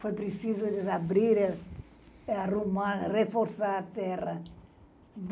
Foi preciso eles abrir, arrumar, reforçar a terra.